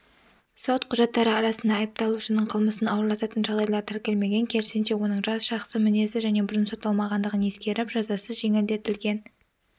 сот құжаттары арасында айыпталушының қылмысын ауырлататын жағдайлар тіркелмеген керісінше оның жас жақсы мінезді және бұрын сотталмағандығын ескеріп жазасы жеңілдетілген